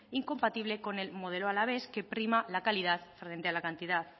incompatible con el modelo alavés que prima la calidad frente a la cantidad